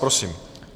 Prosím.